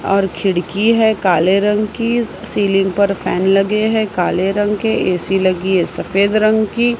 और खिड़की है काले रंग की सीलिंग पर फैन लगे हैं काले रंग के ए_सी लगी है सफेद रंग की।